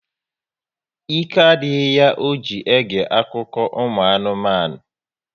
Ike adịghị ya ọ ji ege akụkọ ụmụ anụmanụ